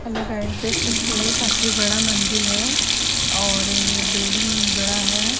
Hello guys देख सकते हैं काफी बड़ा मंजिल है और ये बिल्डिंग बड़ा है।